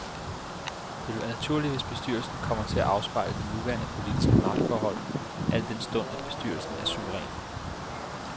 Det vil være naturligt, hvis bestyrelsen kommer til at afspejle det nuværende politiske magtforhold, al den stund at bestyrelsen er suveræn.